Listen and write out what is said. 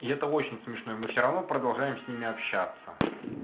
и это очень смешно и мы всё равно продолжаем с ними общаться